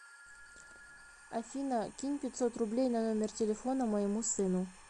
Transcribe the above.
афина кинь пятьсот рублей на номер телефона моему сыну